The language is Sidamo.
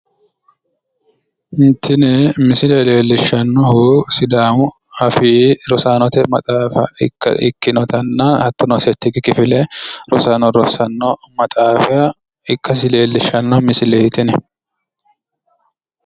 tini misile leellishshannohu sidaamu afii rosaanote maxaafa ikkinotanna hattono settikki kifile rosaano rossanno maxaafa ikkasi leellishshanno misileeti tini.